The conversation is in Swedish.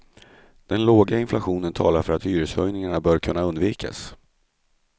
Den låga inflationen talar för att hyreshöjningar bör kunna undvikas.